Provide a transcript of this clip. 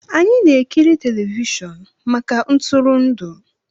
Anyị na-ekiri telivishọn maka ntụrụndụ